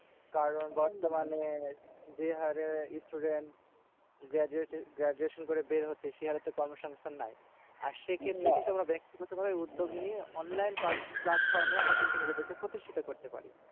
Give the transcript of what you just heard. কারণ বর্তমানে যে হারে student গ্রাডুয়েশন গ্রাডুয়েশন করে বের হচ্ছে। সেহারে তো কর্মসংস্থান নাই। আর সেক্ষেত্রে কিন্তু আমরা ব্যাক্তিগত ভাবে উদ্যোগ নিই online platform এ আমরা কিন্তু নিজেদেরকে প্রতিষ্ঠিত করতে পারি।